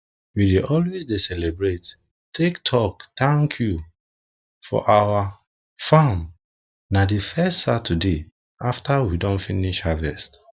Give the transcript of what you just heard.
we dey always dey celebrate take talk thank you for our farm na the first saturday after we don finish harvest